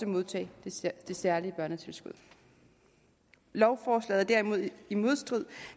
modtage det særlige børnetilskud lovforslaget er dermed i modstrid